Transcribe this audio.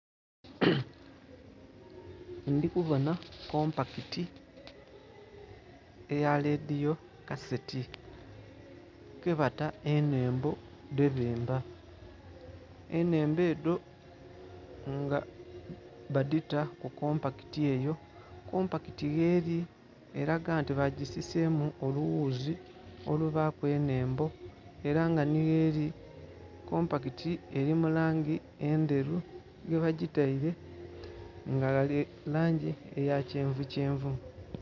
Ndhi kubona kompakiti eya lediyo kaseti, kwebata enhembo dhebemba. Enhembo edho nga badhita ku kompakiti eyo. Kompakiti gheli elaga nti bagisiseemu oluwuzi olubaaku enhembo, ela nga nhi gheli, kompakiti eli mu langi endheru. Ghebagitaile nga ghali langi eya kyenvukyenvu.